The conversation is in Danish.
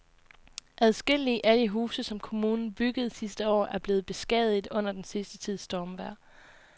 Adskillige af de huse, som kommunen byggede sidste år, er blevet beskadiget under den sidste tids stormvejr.